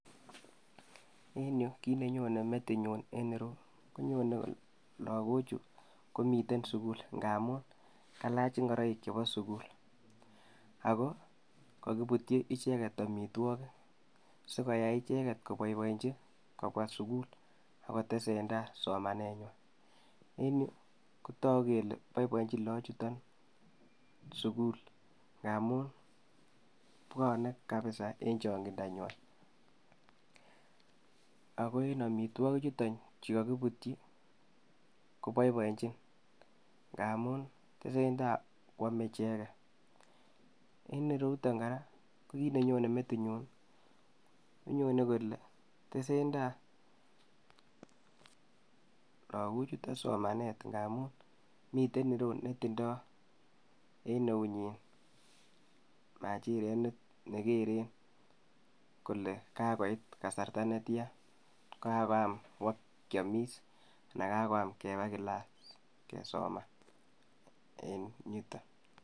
En yuu kiit nenyone metinyun en ireyu, konyone lokochu komiten sukul ng'amun kalach ing'oroik chebo sukul ak ko kokibutyi icheket amitwokik sikoyai icheket koboiboenchi kobwa sukul ak kotesentaa somanenywan, en yuu kotoku kelee boiboenchin lokochuton sukul ng'amun bwone kabisaa en chong'indanywan ak ko en amitwokichuton chukokibutyi ko boiboenchin ng'amun tesentaa kwome icheket, en ireyuton kora ko kiit nenyone metinyun konyone kole tesentaa lokochuton sukul ng'amun miten ireyuu netindo en eunyin machiret nekeren kolee kakoit kasarta netian, kakoyam bokiomis anan kakoyam kebaa kilas kesoman en yuton.